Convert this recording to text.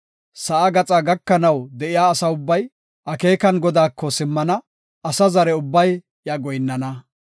Sa7a gaxa gakanaw de7iya asa ubbay, akeekan Godaako simmana; asa zare ubbay iya goyinnana.